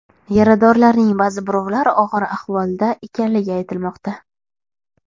Yaradorlarning ba’zi birovlar og‘ir ahvolda ekanligi aytilmoqda.